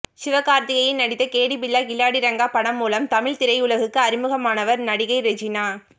சிவகார்த்திகேயன் நடித்த கேடி பில்லா கில்லாடி ரங்கா படம் மூலம் தமிழ்த் திரையுலகுக்கு அறிமுகமானவர் நடிகை ரெஜினா